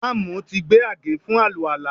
Ìmáàmù ti gbé àgé fún àlùwàlá